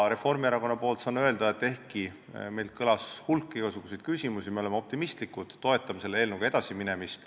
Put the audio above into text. Reformierakonna nimel saan öelda, et ehkki meilt kõlas hulganisti igasuguseid küsimusi, me oleme optimistlikud ja toetame selle eelnõuga edasiminemist.